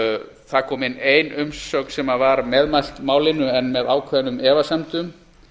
það kom inn ein umsögn sem var meðmælt málinu en með ákveðnum efasemdum